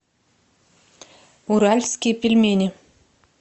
уральские пельмени